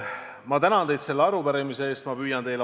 Ma tänan teid selle arupärimise eest!